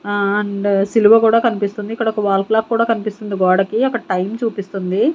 ఆ అండ్ సిలువ కూడా కనిపిస్తుంది ఇక్కడ ఒక వాల్ క్లాక్ కూడా కనిపిస్తుంది గోడకి అక్కడ టైం చూపిస్తుంది.